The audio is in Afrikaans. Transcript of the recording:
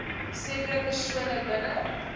sekere persone binne